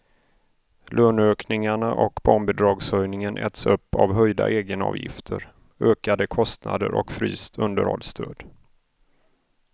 Löneökningarna och barnbidragshöjningen äts upp av höjda egenavgifter, ökade kostnader och fryst underhållsstöd.